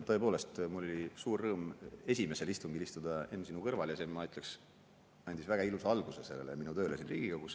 Tõepoolest, oli suur rõõm esimesel istungil istuda, Enn, sinu kõrval ja see, ma ütleks, andis väga ilusa alguse minu tööle siin Riigikogus.